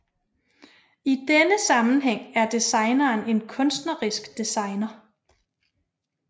I denne sammenhæng er designeren en kunstnerisk designer